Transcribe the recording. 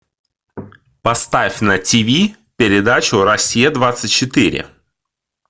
поставь на тв передачу россия двадцать четыре